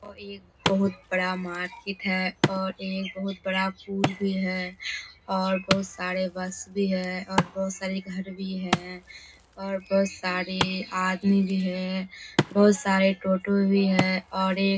और एक बहुत बड़ा मार्किट है और एक बहुत बड़ा पूल भी है और बहुत सारे बस भी है और बहुत सारे घर भी है और बहुत सारे आदमी भी है बहुत सारे टोटो भी है और एक --